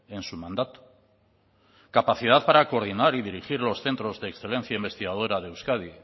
en su mandato capacidad para coordinar y dirigir los centros de excelencia investigadora de euskadi